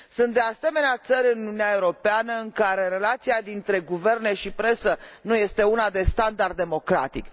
Sunt de asemenea țări în Uniunea Europeană în care relația dintre guverne și presă nu este una de standard democratic.